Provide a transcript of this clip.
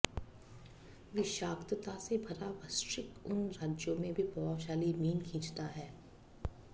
विषाक्तता से भरा वृश्चिक उन राज्यों में भी प्रभावशाली मीन खींचता है